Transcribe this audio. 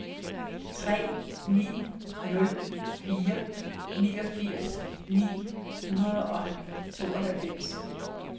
tre ni nul fire niogfirs ni hundrede og tooghalvfems